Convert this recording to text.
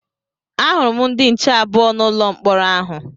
A hụrụ m ndị nche abụọ n'ụlọ mkpọrọ ahụ